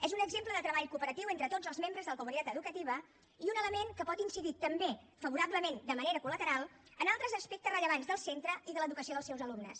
és un exemple de treball cooperatiu entre tots els membres de la comunitat educativa i un element que pot incidir també favorablement de manera col·lateral en altres aspectes rellevants del centre i de l’educació dels seus alumnes